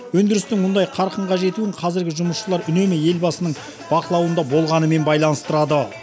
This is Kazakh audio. өндірістің мұндай қарқынға жетуін қазіргі жұмысшылар үнемі елбасының бақылауында болғанымен байланыстырады